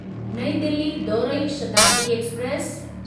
नईं दिल्ली दौरई शताब्दी एक्सप्रेस